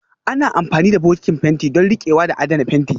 Ana amfani da bokitin fenti don riƙewa da adana fenti